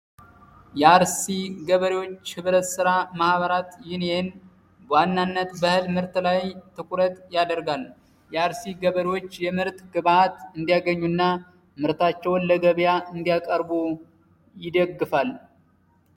የአርሲ ገበሪዎች ኅብረትሥራ ማህበራት ዩኒየን በዋናነት በእህል ምርት ላይ ትኩረት ያደርጋል። የአርሲ ገበሪዎች የምርት ግባአት እንዲያገኙና ምርታቸው ለገብያ እንዲያቀርቡ ይደግፋል።